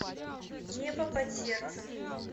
небо под сердцем